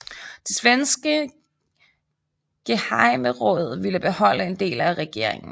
Det svenske gehejmeråd ville beholde en del af regeringen